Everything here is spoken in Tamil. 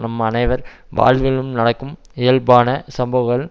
நம் அனைவர் வாழ்விலும் நடக்கும் இயல்பான சம்பவங்கள்